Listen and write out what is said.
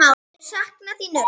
Þau sakna þín öll.